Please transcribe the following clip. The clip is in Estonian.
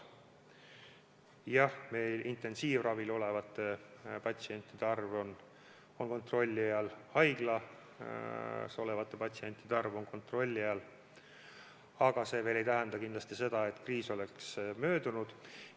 Jah, intensiivravil olevate patsientide arv on kontrolli all, haiglas olevate patsientide arv on kontrolli all, aga see veel ei tähenda seda, et kriis on möödunud.